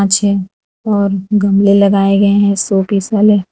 पीछे और गमले लगाए गए हैं शो पीस वाले।